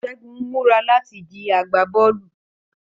Segun ń mura lati di agbabọọlu